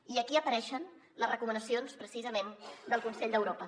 i aquí apareixen les recomanacions precisament del consell d’europa